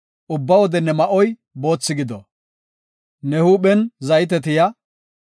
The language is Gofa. Ubba wode ne ma7oy boothi gido; ne huuphen zayte tiya.